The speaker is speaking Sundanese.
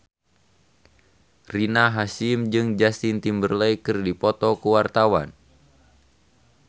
Rina Hasyim jeung Justin Timberlake keur dipoto ku wartawan